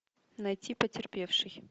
найти потерпевший